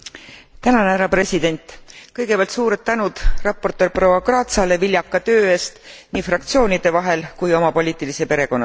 Kõigepealt suured tänud raportöör proua Kratsale viljaka töö eest nii fraktsioonide vahel kui oma poliitilise perekonna sees.